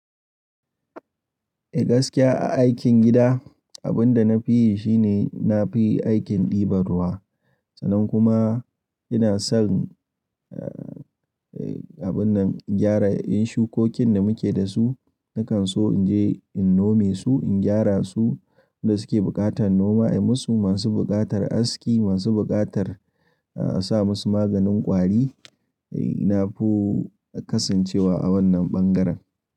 Eh gaskiya aikin gida abin da na fi yi shine na fi aikin ɗiban ruwa. Sanan kuma ina son, eh abun nan gyara yin shukokin da muke da su. Nakan so in je in nome su, in gyara su. Wadanda suke buƙatar noma ai musu, masu buƙatar aski, masu buƙatar sa musu maganin ƙwari. Eh ina fo kasancewa a wannan ɓangaren.